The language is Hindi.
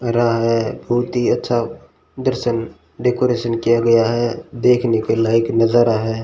रहा है बहुत ही अच्छा दर्शन डेकोरेट किया गया है देखने के लायक नजारा है।